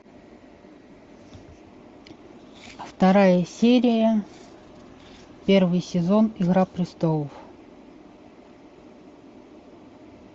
вторая серия первый сезон игра престолов